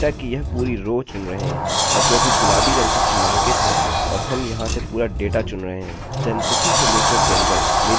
अतः हम समझ चुके हैं कि यह इस समय केवल एक ही रिकार्डअभिलेखचुनेगा अतः हमें id से ऑर्डर करने की आवश्यकता नहीं है